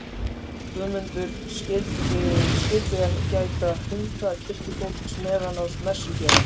Guðmundur skyldu gæta hunda kirkjufólks meðan á messugjörð stæði.